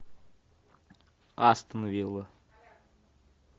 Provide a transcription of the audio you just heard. астон вилла